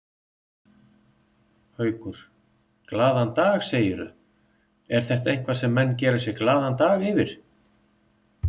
Haukur: Glaðan dag segirðu, er þetta eitthvað sem menn gera sér glaðan dag yfir?